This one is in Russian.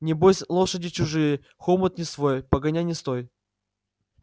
небось лошади чужие хомут не свой погоняй не стой